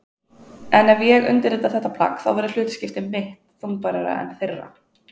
En ef ég undirrita þetta plagg þá verður hlutskipti mitt þungbærara en þeirra.